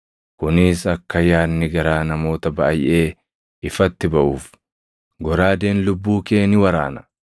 kunis akka yaadni garaa namoota baayʼee ifatti baʼuuf. Goraadeen lubbuu kee ni waraana.”